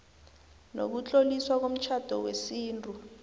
nokutloliswa komtjhado wesintu